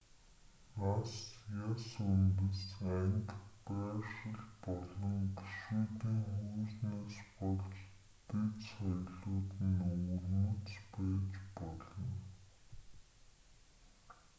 нас яс үндэс анги байршил болон гишүүдийн хүйснээс болж дэд соёлууд нь өвөрмөц байж болно